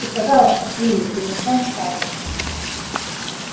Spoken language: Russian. и пожалуйста криви превращён в статую